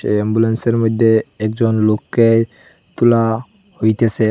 অ্যাম্বুলেন্সের মইধ্যে একজন লোককে তুলা হইতেসে।